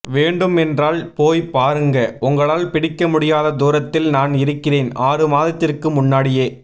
வேண்டும் என்றால் போய் பாருங்க உங்களால் பிடிக்க முடியாத தூரத்தில் நான் இருக்கிறேன் ஆறு மாதத்திற்கு முன்னாடியே